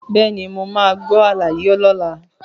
Bẹ́ẹ̀ni, mo máa gbọ́ àlàyé lọ́la.